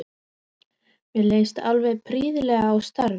Mér leist alveg prýðilega á starfið.